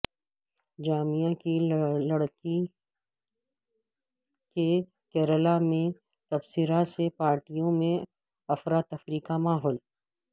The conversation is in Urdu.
جامعہ کی لڑکی کے کیرالا میں تبصرہ سے پارٹیوں میں افرتفری کاماحول